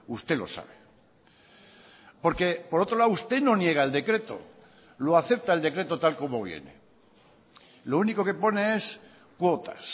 usted lo sabe porque por otro lado usted no niega el decreto lo acepta el decreto tal como viene lo único que pone es cuotas